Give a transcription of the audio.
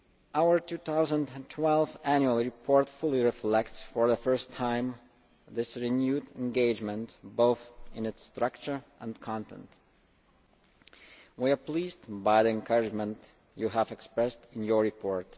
Our 2012 Annual Report fully reflects, for the first time, this renewed engagement, both in its structure and content. We are pleased by the encouragement you have expressed in your report.